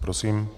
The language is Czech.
Prosím.